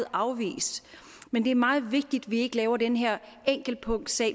afvist men det er meget vigtigt at vi ikke laver den her enkeltpunktssag og